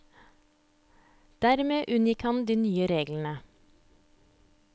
Dermed unngikk han de nye reglene.